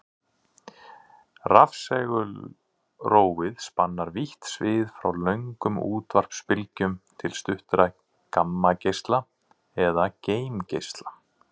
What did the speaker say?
Rafsegulrófið spannar vítt svið frá löngum útvarpsbylgjum til stuttra gamma-geisla eða geimgeisla.